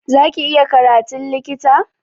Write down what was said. Za ki iya karatun likita?